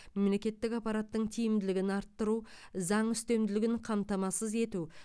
мемлекеттік аппараттың тиімділігін арттыру заң үстемдігін қамтамасыз ету